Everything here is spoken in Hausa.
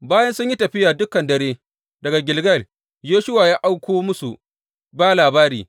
Bayan sun yi tafiya dukan dare daga Gilgal, Yoshuwa ya auko musu ba labari.